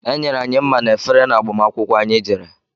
Enyere anyị mma na efere n'agbamakwukwó anyị jere.